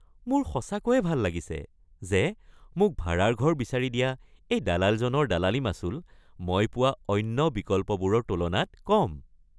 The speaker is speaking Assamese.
মোৰ সঁচাকৈ ভাল লাগিছে যে মোক ভাড়াৰ ঘৰ বিচাৰি দিয়া এই দালালজনৰ দালালী মাচুল মই পোৱা অন্য বিকল্পবোৰৰ তুলনাত কম।